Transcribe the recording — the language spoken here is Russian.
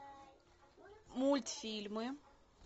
мультфильмы